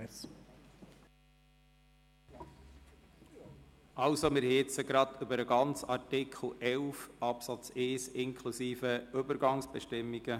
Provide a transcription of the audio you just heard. Jetzt lag der Fokus auf dem ganzen Artikel 11 Absatz 1 inklusive Übergangsbestimmungen.